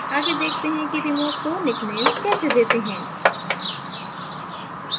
आगे देखते हैं कि remote को निकनेम कैसे देते है